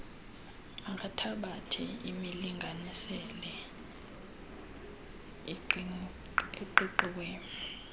makathabathe imilinganiselo eqiqiweyo